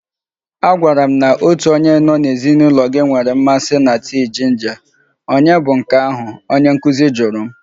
A gwara m na onye nọ n'ezinụlọ gị nwere mmasị na tii jinja, ònye bụ nke ahụ? Onye nkuzi jụrụ m.